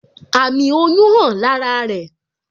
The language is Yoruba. Àmì oyún hàn lára rẹ